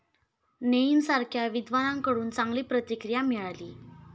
नेईम सारख्या विद्वानांकडून चांगली प्रतिक्रिया मिळाली.